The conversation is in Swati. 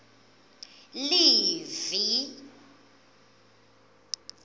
livi